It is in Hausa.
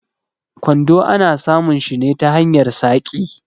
Kwando ana samun shi ne ta hanyar saƙi.